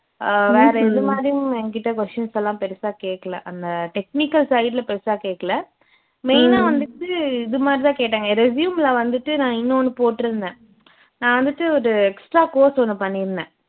அஹ் வேற எது மாதிரியும் எங்கிட்ட questions எல்லாம் பெருசா கேக்கல அந்த technical side ல பெருசா கேக்கல main ஆ வந்துட்டு இது மாதிரி தான் கேட்டாங்க resume ல வந்துட்டு நான் உன்னோன்னு போட்டிருந்தேன் நான் வந்துட்டு ஒரு extra course ஒண்ணு பண்ணிருந்தேன்